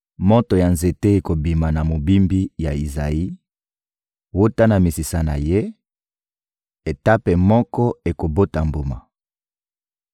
Moto ya nzete ekobima na mobimbi ya Izayi; wuta na misisa na ye, Etape moko ekobota mbuma.